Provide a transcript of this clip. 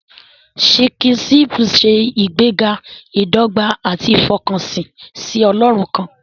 Sikhism ń ṣe ìgbéga ìdọ́gba àti ìfọkànsìn sí Ọlọ́run kan.